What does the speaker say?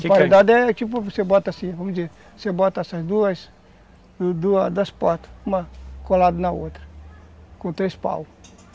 O emparedado é tipo, você bota assim, vamos dizer, você bota essas duas das portas, uma colada na outra, com três paus.